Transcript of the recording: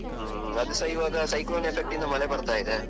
ಹ್ಮ್ ಹ್ಮ ಅದುಸ ಇವಾಗ cyclone effect ಇಂದ ಮಳೆ ಬರ್ತಾ ಇದೆ.